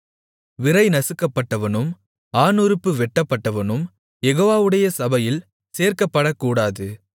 விரை நசுக்கப்பட்டவனும் ஆணுறுப்பு வெட்டப்பட்டவனும் யெகோவாவுடைய சபையில் சேர்க்கப்படக்கூடாது